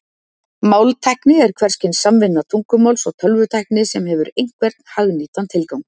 Máltækni er hvers kyns samvinna tungumáls og tölvutækni sem hefur einhvern hagnýtan tilgang.